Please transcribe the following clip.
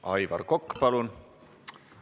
Aivar Kokk, palun!